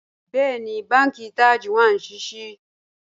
Bẹ̀ẹni, bánkì Taj wa ní síṣí